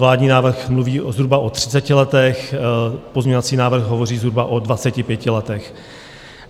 Vládní návrh mluví zhruba o 30 letech, pozměňovací návrh hovoří zhruba o 25 letech.